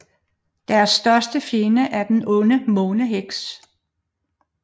Deres største fjende er den onde måneheks